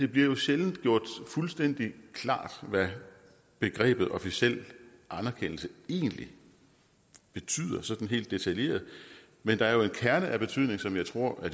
bliver jo sjældent gjort fuldstændig klart hvad begrebet officiel anerkendelse egentlig betyder sådan helt detaljeret men der er jo en kerne af betydning som jeg tror